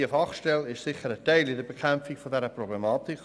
Die Fachstelle ist sicher ein Teil bei der Bekämpfung dieser Problematik.